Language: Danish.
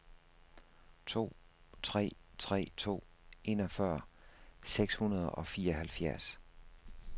to tre tre to enogfyrre seks hundrede og fireoghalvfjerds